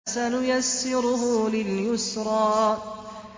فَسَنُيَسِّرُهُ لِلْيُسْرَىٰ